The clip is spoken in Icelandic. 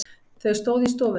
Þau stóðu í stofunni.